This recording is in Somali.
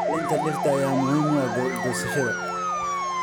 Ilaalinta dhirta ayaa muhiim u ah goosashada.